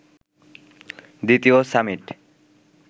দ্বিতীয় সামিট